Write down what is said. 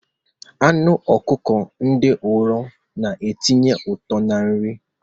Anụ ọkụkọ ndị nro na-etinye ụtọ na-nri.